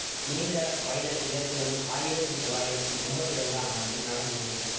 நீண்ட பைனல் இதற்கு முன் ஆயிரத்தி தொளாயிரத்தி எம்பத்தி இரண்டாம் ஆண்டில் நடந்தது